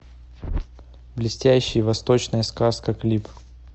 блестящие восточная сказка клип